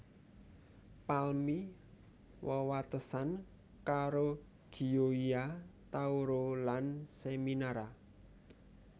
Palmi wewatesan karo Gioia Tauro lan Seminara